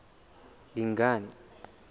dingane